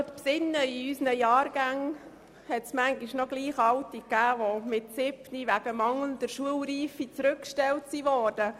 In unseren Jahrgängen gab es ab und zu Siebenjährige, die wegen mangelnder Schulreife zurückgestellt wurden.